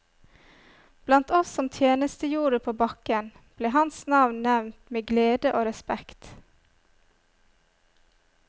Blant oss som tjenestegjorde på bakken, ble hans navn nevnt med glede og respekt.